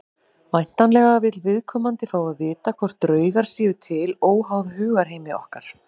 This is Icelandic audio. Væntanlega vill viðkomandi fá að vita hvort draugar séu til óháð hugarheimi okkar.